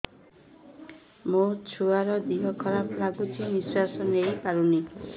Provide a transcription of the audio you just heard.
ମୋ ଛୁଆର ଦିହ ଖରାପ ଲାଗୁଚି ନିଃଶ୍ବାସ ନେଇ ପାରୁନି